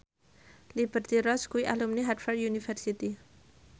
Liberty Ross kuwi alumni Harvard university